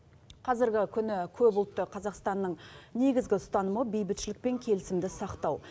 қазіргі күні көпұлтты қазақстанның негізгі ұстанымы бейбітшілік пен келісімді сақтау